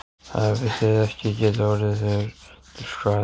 Hefði það ekki getað orðið þér til skaða?